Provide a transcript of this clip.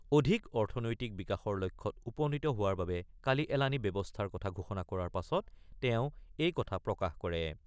অধিক অৰ্থনৈতিক বিকাশৰ লক্ষ্যত উপনীত হোৱাৰ বাবে কালি এলানি ব্যৱস্থাৰ কথা ঘোষণা কৰাৰ পাছত তেওঁ এই কথা প্ৰকাশ কৰে।